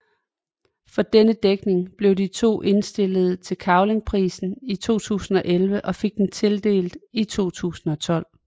For denne dækning blev de to indstillet til Cavlingprisen i 2011 og fik den tildelt i 2012